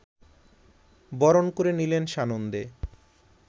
বরণ করে নিলেন সানন্দে